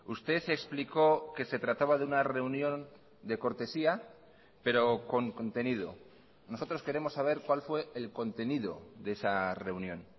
usted explicó que se trataba de una reunión de cortesía pero con contenido nosotros queremos saber cuál fue el contenido de esa reunión